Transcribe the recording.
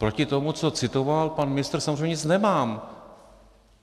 Proti tomu, co citoval pan ministr, samozřejmě nic nemám.